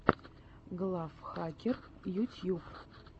глав хакер ютьюб